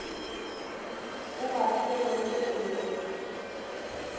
a ba swerego o be